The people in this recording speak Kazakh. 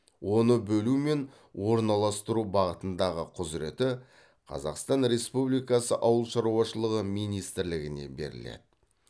оны бөлу мен орналастыру бағытындағы құзыреті қазақстан республикасы ауыл шаруашылығы министрлігіне беріледі